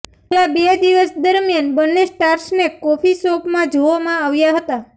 છેલ્લા બે દિવસ દરમિયાન બને સ્ટારર્સને કોફી શોપમાં જોવામાં આવ્યા હતા